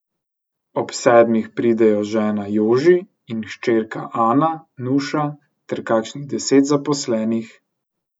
Ob sedmih pridejo žena Joži in hčerka Ana Nuša ter kakšnih deset zaposlenih.